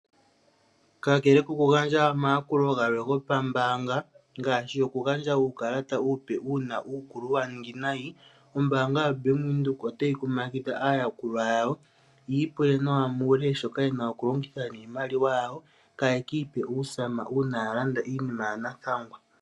Kakele koku gandja omayakulo gawo gopambaanga ngaashi oku gandja uukalata uupe uuna uukulu wa ningi nayi. Ombaanga yaVenduka otayi kumagidha aayakulwa yawo yiipule nawa muule shoka yena oku longitha niimaliwa yawo. Kaya kiipe uusama uuna ya landa iinima ya nathangwa.